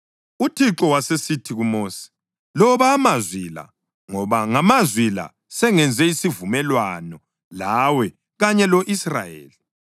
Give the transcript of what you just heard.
UThixo wasesithi kuMosi, “Loba amazwi la, ngoba ngamazwi la sengenze isivumelwano lawe kanye lo-Israyeli.”